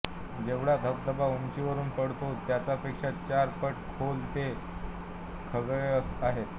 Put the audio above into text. जेवढा धबधबा उंचावरून पडतो त्याचा पेक्षा चार पट खोल ते खळगे आहेत